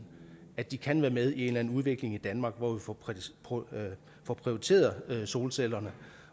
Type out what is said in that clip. at de kan være med i en eller anden udvikling i danmark hvor vi får opprioriteret solcellerne